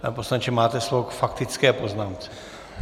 Pane poslanče, máte slovo k faktické poznámce.